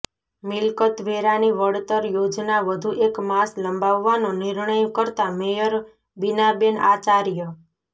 મિલકત વેરાની વળતર યોજના વધુ એક માસ લંબાવવાનો નિર્ણય કરતા મેયર બિનાબેન આચાર્ય